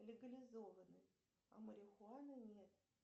легализованы а марихуана нет